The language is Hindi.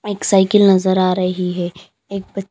एक साइकिल नजर आ रही है एक।